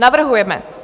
Navrhujeme: